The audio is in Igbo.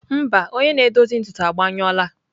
Mba, onye na-edozi ntutu agbanyụla.